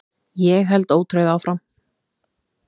Ég held ótrauð áfram.